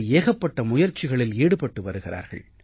ஏகப்பட்ட முயற்சிகளில் ஈடுபட்டு வருகிறார்கள்